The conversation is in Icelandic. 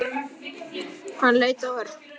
Hann leit á Örn.